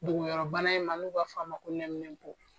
Dogoyɔrɔbana in ma n'u b'a fɔ a ma ko nɛminɛpo